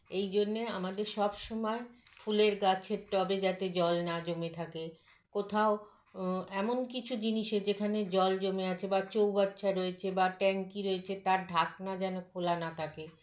এইজন্যে আমাদের সবসময় ফুলের গাছের tub -এ যাতে জল না জমে থাকে কোথাও আ এমন কিছু জিনিসে যেখানে জল জমে আছে বা চৌবাচ্চা রয়েছে বা tank -ই রয়েছে তার ঢাকনা যেন খোলা না থাকে